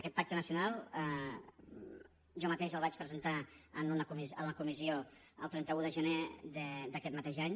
aquest pacte nacional jo mateix el vaig presentar a la comissió el trenta un de gener d’aquest mateix any